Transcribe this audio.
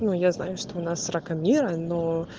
ну я знаю что у нас срака мира но